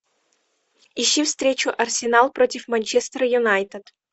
ищи встречу арсенал против манчестер юнайтед